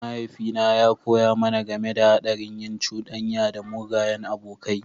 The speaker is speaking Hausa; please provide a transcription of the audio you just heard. Mahaifina ya koya mana game da haɗarin yin cuɗanya da mugayen abokai.